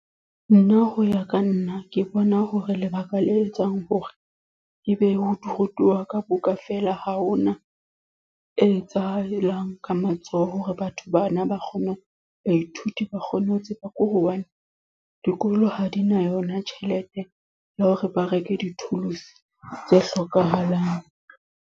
Nna ho ya ka nna. Ke bona hore lebaka le etsang hore, ebe ho rutuwa ka buka fela. Ha hona e etsahalang ka matsoho, hore batho bana ba kgone. Baithuti ba kgone ho tseba ko hobane, dikolo ha di na yona tjhelete ya hore ba reke di-tools tse hlokahalang.